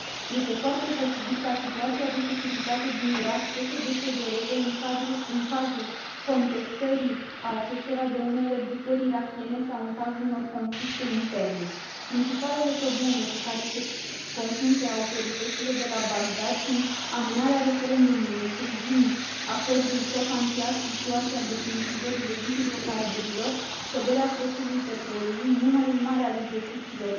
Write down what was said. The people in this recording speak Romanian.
Este foarte posibil ca situația de securitate din Irak să se deterioreze în cazul contestării acestora de unele grupări irakiene sau în cazul unor conflicte interne. Principalele probleme cu care se confruntă autoritățile de la Bagdad sunt amânarea referendumului privind acordul SOFA încheiat cu SUA și a definitivării legii hidrocarburilor, scăderea prețului petrolului, numărul mare al execuțiilor